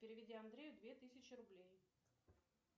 переведи андрею две тысячи рублей